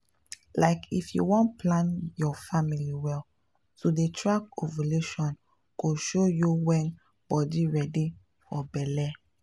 like if you wan plan your family well to dey track ovulation go show you when body ready for belle.